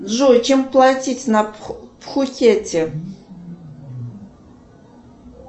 джой чем платить на пхукете